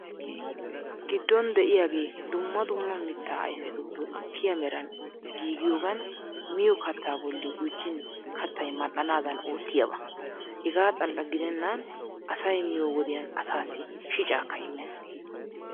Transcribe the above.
Giddon de'iyaage dumma dumma mittaa ayfetuppe gukkiya meran giigiyogan miyo kattaa bolli gujjin kattay mal"anaadan oottiyaaba. Hegaa xalla gidennan asay miyo wodiyan asaassi shicaakka immees.